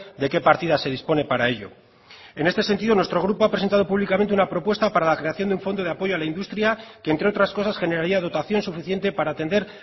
de qué partida se dispone para ello en este sentido nuestro grupo ha presentado públicamente una propuesta para la creación de un fondo de apoyo a la industria que entre otras cosas generaría dotación suficiente para atender